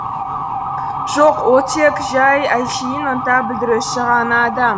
жоқ ол тек жай әншейін ынта білдіруші ғана адам